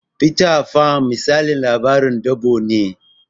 Fita Fan misalin labarin dabo ne